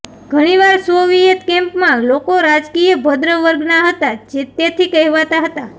ઘણીવાર સોવિયેત કેમ્પમાં લોકો રાજકીય ભદ્ર વર્ગના હતા તેથી કહેવાતા હતા